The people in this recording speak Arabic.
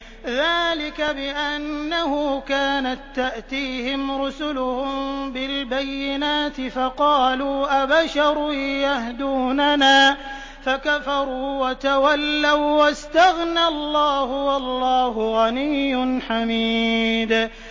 ذَٰلِكَ بِأَنَّهُ كَانَت تَّأْتِيهِمْ رُسُلُهُم بِالْبَيِّنَاتِ فَقَالُوا أَبَشَرٌ يَهْدُونَنَا فَكَفَرُوا وَتَوَلَّوا ۚ وَّاسْتَغْنَى اللَّهُ ۚ وَاللَّهُ غَنِيٌّ حَمِيدٌ